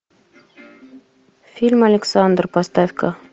фильм александр поставь ка